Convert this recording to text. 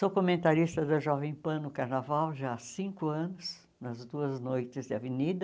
Sou comentarista da Jovem Pan no Carnaval já há cinco anos, nas duas noites de avenida.